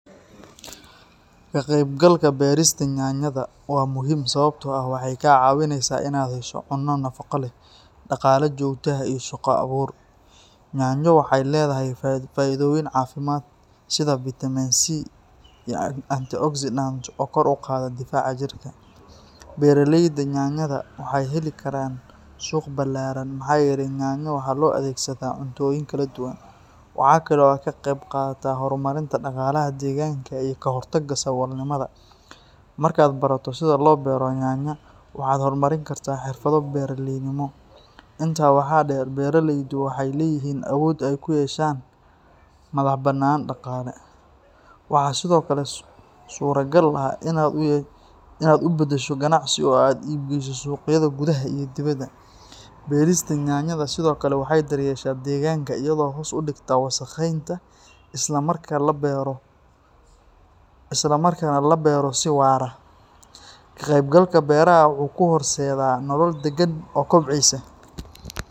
Ka qaybgalka beerista yaanyada waa muhiim sababtoo ah waxay kaa caawinaysaa inaad hesho cunno nafaqo leh, dhaqaale joogto ah, iyo shaqo abuur. Yaanyo waxay leedahay faa’iidooyin caafimaad sida vitamin C iyo antioxidants oo kor u qaada difaaca jirka. Beeraleyda yaanyada waxay heli karaan suuq ballaaran maxaa yeelay yaanyo waxaa loo adeegsadaa cuntooyin kala duwan. Waxa kale oo ay ka qayb qaadataa horumarinta dhaqaalaha deegaankaaga iyo ka hortagga saboolnimada. Marka aad barato sida loo beero yaanyo, waxaad horumarin kartaa xirfado beeraleynimo. Intaa waxaa dheer, beeraleydu waxay leeyihiin awood ay ku yeeshaan madaxbannaani dhaqaale. Waxaa sidoo kale suuragal ah inaad u bedesho ganacsi oo aad u iib geyso suuqyada gudaha iyo dibadda. Beerista yaanyada sidoo kale waxay daryeeshaa deegaanka iyadoo hoos u dhigta wasakheynta, isla markaana la beero si waara. Ka qaybgalka beeraha wuxuu kuu horseedi karaa nolol deggan oo kobcaysa.